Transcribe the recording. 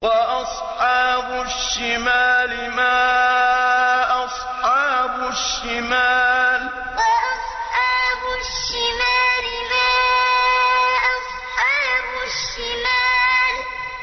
وَأَصْحَابُ الشِّمَالِ مَا أَصْحَابُ الشِّمَالِ وَأَصْحَابُ الشِّمَالِ مَا أَصْحَابُ الشِّمَالِ